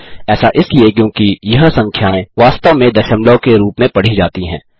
ऐसा इसलिए क्योंकि यह संख्याएँ वास्तव में दशमलव के रूप में पढ़ी जाती हैं